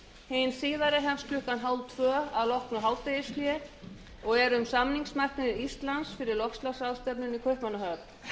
hin síðari hefst klukkan hálftvö að loknu hádegishléi og er um samningsmarkmið íslands fyrir loftslagsráðstefnuna í kaupmannahöfn